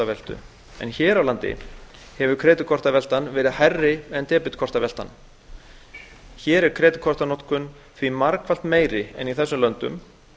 af debetkortaveltu en hér á landi hefur kreditkortaveltan verið hærri en debetkortaveltan hér er kreditkortanotkun því margfalt meiri en í þessum löndum